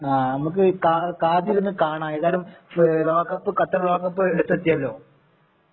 ആ അമ്മക്ക് കാ കാത്തിരുന്നു കാണാം ഏതായാലും ലോക കപ്പ് ഖത്തർ ലോക കപ്പ് അടുത്തെതിയല്ലോ